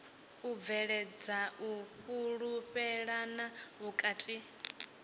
u bveledza u fhulufhelana vhukati